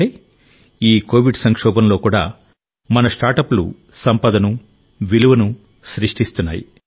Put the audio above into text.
అంటే ఈ ప్రపంచ మహమ్మారి యుగంలో కూడా మన స్టార్టప్లు సంపదను విలువను సృష్టిస్తున్నాయి